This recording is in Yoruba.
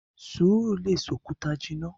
Sùúrù lè ṣe òkúta jìnnà!